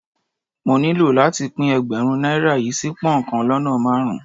Mo nílò láti pín Ẹgbẹ̀rún náírà yí sí pón kan lọ́nà márùn-ún.